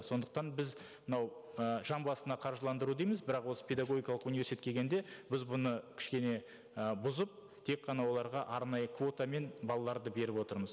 сондықтан біз мынау ы жан басына қаржыландыру дейміз бірақ осы педагогикалық университетке келгенде біз бұны кішкене і бұзып тек қана оларға арнайы квотамен балаларды беріп отырмыз